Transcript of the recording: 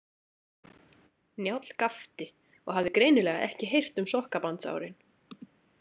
Njáll gapti og hafði greinilega ekki heyrt um sokkabandsárin.